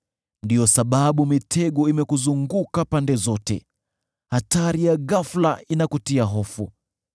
Ndiyo sababu mitego imekuzunguka pande zote, hatari ya ghafula inakutia hofu,